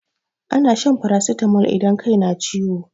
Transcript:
Ana shan farasitamol idan kai na ciwo.